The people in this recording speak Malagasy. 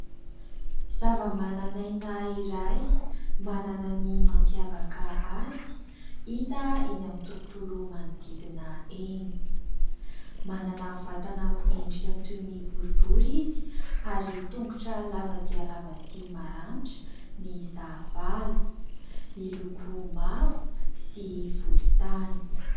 zava-manan'aina iray manana ny mampiavaka azy hita eny amin'ny tontolo manodidina eny; manana vatana amin'ny endrika toy ny boribory izy ary tongotra lava-dia lava sy maranitra mihisa valo, miloko mavo sy volontany